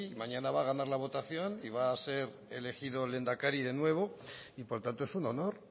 mañana va a ganar la votación y va a ser elegido lehendakari de nuevo y por tanto es un honor